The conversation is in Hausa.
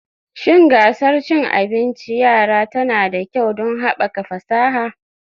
Shin gasar cin abinci yara tana da kyau don haɓaka fasaha